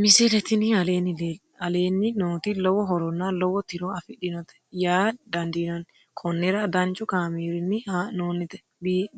misile tini aleenni nooti lowo horonna lowo tiro afidhinote yaa dandiinanni konnira danchu kaameerinni haa'noonnite